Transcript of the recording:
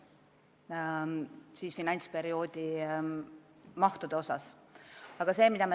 Lõplik otsus finantsperioodi mahtude kohta tehakse tõenäoliselt tänavu detsembris.